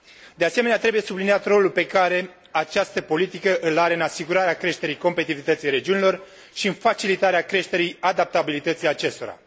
De asemenea, trebuie subliniat rolul pe care această politică îl are în asigurarea creșterii competitivității regiunilor și în facilitarea creșterii adaptabilității acestora.